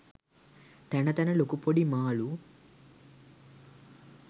තැන තැන ලොකු පොඩි මාළු